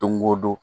Don o don